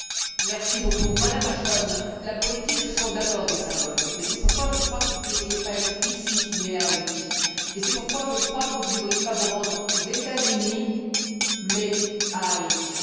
Monsieur le Président, Madame Ashton, la politique, ce sont d'abord des symboles et c'est pourquoi je crois que vous ne devriez pas être ici, mais à Haïti, c'est pourquoi je crois que vous ne devriez pas vous rendre aux États Unis, mais à Haïti.